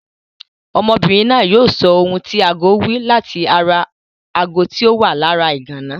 Ọmọbìnrin náà yóò sọ ohun tí agó wí láti ara ago tí ó wà lára ìgànná.